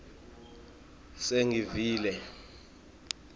sengivile